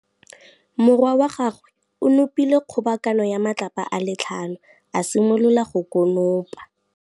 Morwa wa gagwe o nopile kgobokanô ya matlapa a le tlhano, a simolola go konopa.